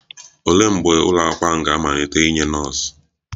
Olee mgbe ụlọ akwụkwọ ahụ ga-amalite inye nọọsụ?